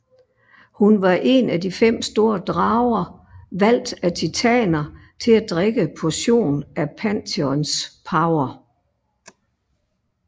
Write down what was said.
Hun var en af de fem store drager valgt af titaner til at drikke portion af Pantheons power